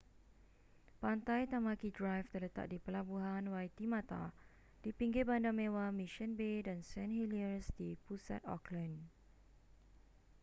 pantai tamaki drive terletak di pelabuhan waitemata di pinggir bandar mewah mission bay dan st heliers di pusat auckland